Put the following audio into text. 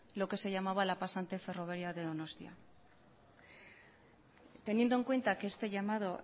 lo que se llamaba la pasante ferroviaria de donostia teniendo en cuenta que este llamado